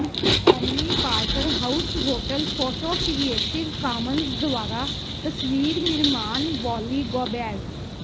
Omni Parker House hotel photo Creative Commons ਦੁਆਰਾ ਤਸਵੀਰ ਨਿਰਮਾਣ ਵੌਲੀ ਗੋਬੈਜ